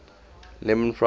lenin prize winners